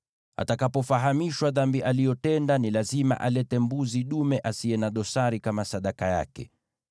Atakapofahamishwa dhambi aliyotenda, ni lazima alete mbuzi dume asiye na dosari kama sadaka yake.